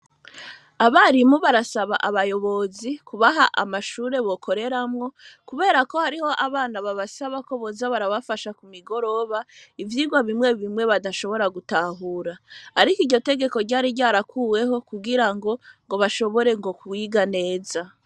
Abarimu barasaba abayobozi kubaha amashure bakoreramwo kubera ko hariho abana basaba ko boza barabafasha ku migoroba ivyigwa bimwe bimwe badashobora gutahura. Ariko iryo tegeko ryari ryarakuweho kugirango bashobore ngo kwiga neza.